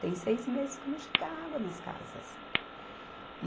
Tem seis meses que não chega água nas casas.